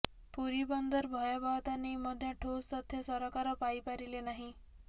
ପୁରୀ ବନ୍ଦର ଭୟାବହତା େନଇ ମଧ୍ୟ େଠାସ୍ ତଥ୍ୟ ସରକାର ପାଇପାରିଲେ ନାହିଁ